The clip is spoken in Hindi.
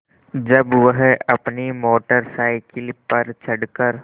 जब वह अपनी मोटर साइकिल पर चढ़ कर